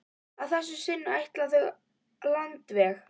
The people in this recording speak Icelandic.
Að þessu sinni ætla þau landveg.